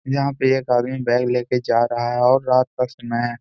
यहां पे एक आदमी बैग ले कर जा रहा है और रात का समय है।